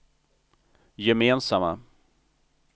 gemensamma